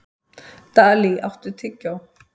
Dalí, áttu tyggjó?